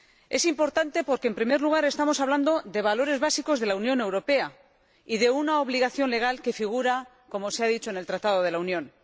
Es importante porque, en primer lugar, estamos hablando de valores básicos de la Unión Europea y de una obligación legal que figura, como se ha dicho, en el Tratado de la Unión.